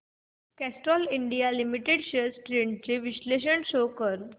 Castrol India limited shares trends चे विश्लेषण show कर